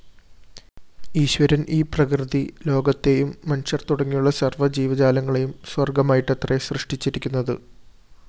ഈശ്വരന്‍ ഈ പ്രകൃതിലോകത്തെയും മനുഷ്യര്‍ തുടങ്ങിയുള്ള സര്‍വ്വജീവജാലങ്ങളേയും സ്വര്‍ഗ്ഗമായിട്ടത്രെ സൃഷ്ടിച്ചിരിക്കുന്നത്